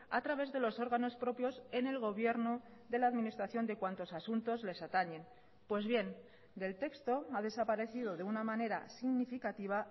a través de los órganos propios en el gobierno de la administración de cuantos asuntos les atañen pues bien del texto ha desaparecido de una manera significativa